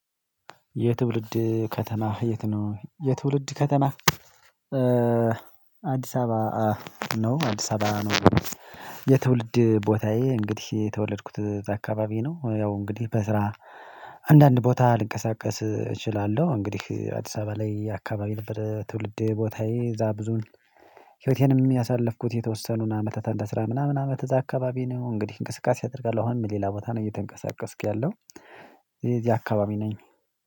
የትውልድ ከተማህ የት ነው? የትውልድ ከተማህ አዲስ አበባ ነው አዲስ አበባ ነው። የትውልድ ቦታዬ እንግዲህ የተወለድኩት እዛ አካባቢ ነው። ያው እንግዲህ በስራ አንዳንድ ቦታ ልንቀሳቀስ እችላለሁ። እንግዲህ አዲስ አበባ ላይ አካባቢ ነበር ትውልዴ ቦታዬ እዛ ብዙን ህይወቴንም ያሳለፍኩት የተወሰኑን አመታት አንድ አስራ ምናምን አመት እዚያ አካባቢ ነው። እንግዲህ እንቅስቃሴ አደርጋለሁ። አሁንም ሌላ ቦታ ነው እየተንቀሳቀስኩ ያለው እዚህ አካባቢ ነኝ። እኔ